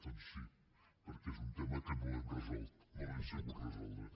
doncs sí perquè és un tema que no l’hem resolt no l’hem sabut resoldre